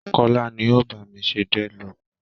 Kọ́lá ni ó bá mi ṣe dreadlock mi